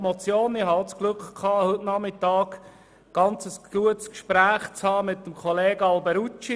Ich hatte das Glück, heute Nachmittag ein sehr gutes Gespräch mit Grossrat Alberucci zu führen.